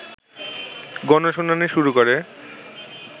গণশুনানী শুরু করে